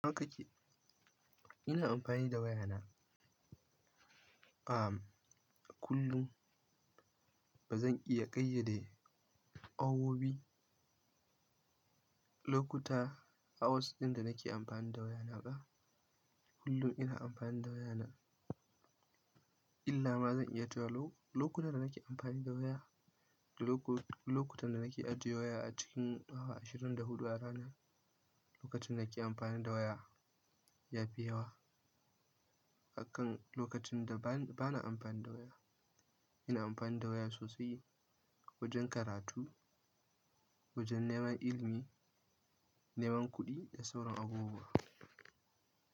Nawa kake? Ina amfani da wayana, a, kullum. Ba zan iya ƙayyade awowi, lokuta, hours ɗin da nake amfani da wayana ba. Kullum ina amfani da wayana. Illa ma zan iya tuwa lo-lokuta da nake amfani da waya da loko-- lokutan da nake ajiye waya a cikin awa ashirin da huɗu a rana. Lokacin da nake amfani da waya yafi yawa akan lokacin da ba na amfani da waya. Ina amfani da waya sosai wajen karatu, wajen neman ilimi, neman kuɗi da sauran abubuwa.